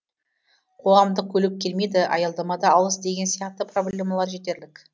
қоғамдық көлік келмейді аялдама да алыс деген сияқты проблемалар жетерлік